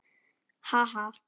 Ha, ha!